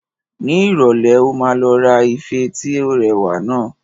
Ní ìrọ̀lẹ́ a máa lọ ra ife tí ó rẹwà naa